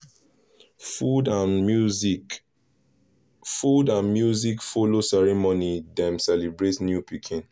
food and music food and music follow ceremony dem celebrate new pikin